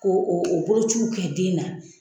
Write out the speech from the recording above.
Ko o o bolociw kɛ den na.